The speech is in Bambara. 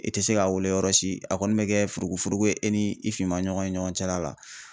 I tɛ se k'a wele yɔrɔ si a kɔni bɛ kɛ furugu furugu ye e ni i finma ɲɔgɔn ɲɔgɔn cɛla la.